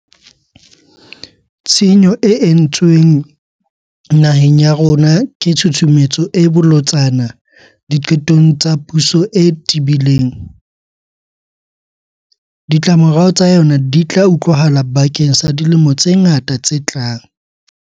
Tshenyo e entsweng naheng ya rona ke tshusumetso e bolotsana diqetong tsa puso e tebileng. Ditlamorao tsa yona di tla utlwahala bakeng sa dilemo tse ngata tse tlang.